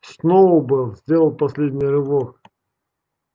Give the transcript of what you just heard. сноуболл сделал последний рывок